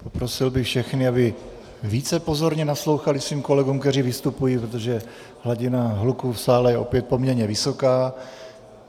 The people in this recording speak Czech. Prosil bych všechny, aby více pozorně naslouchali svým kolegům, kteří vystupují, protože hladina hluku v sále je opět poměrně vysoká.